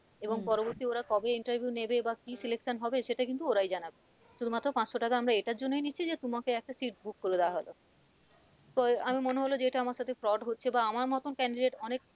এবং হম পরবর্তী ওরা কবে interview নেবে বা কি selection সেটা কিন্তু ওরাই জানাবে শুধু মাত্র পাঁচশো টাকা আমরা এটার জন্যই নিচ্ছি যে তোমাকে একটা seat book করে দেওয়া হলো আমার মনে হলে যে এটা আমার সাথে fraud হচ্ছে বা আমার মতন candidate অনেক